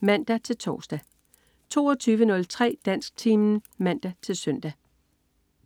(man-tors) 22.03 Dansktimen (man-søn)